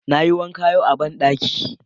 Na yi wanka yau a banɗaki